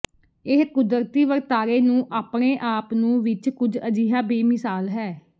ਇਹ ਕੁਦਰਤੀ ਵਰਤਾਰੇ ਨੂੰ ਆਪਣੇ ਆਪ ਨੂੰ ਵਿੱਚ ਕੁਝ ਅਜਿਹਾ ਬੇਮਿਸਾਲ ਹੈ